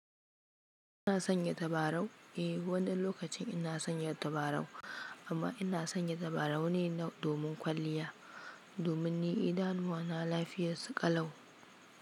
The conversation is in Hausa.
Ina sanya tabarau? Wani lokacin ina sanya tabarau amma ina sanya tabarau nai domin kwaliyya domin ni idanuwana lafiya.